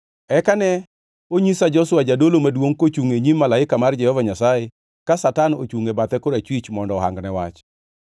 Eka ne onyisa Joshua jadolo maduongʼ kochungʼ e nyim malaika mar Jehova Nyasaye, ka Satan ochungʼ e bathe korachwich mondo ohangne wach.